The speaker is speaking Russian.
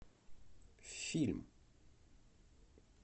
фильм